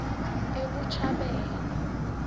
ebuchabelo